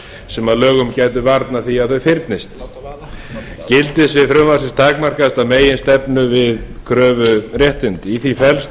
sem að lögum gætu varnað því að þau fyrnist gildissvið frumvarpsins takmarkast að meginstefnu til við kröfuréttindi í því felst að